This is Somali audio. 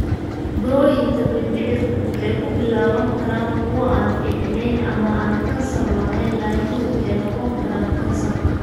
Burooyinka mindhicirku waxay ku bilaaban karaan kuwo aan fiicneyn, ama aan kansar lahayn, laakiin waxay noqon karaan kansar.